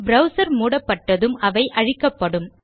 browser மூடப்பட்டதும் அவை அழிக்கப்படும்